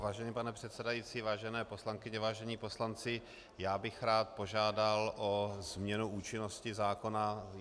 Vážený pane předsedající, vážené poslankyně, vážení poslanci, já bych rád požádal o změnu účinnosti zákona.